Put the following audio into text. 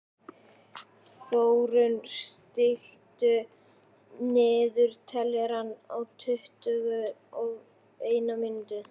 Þórunn, stilltu niðurteljara á tuttugu og eina mínútur.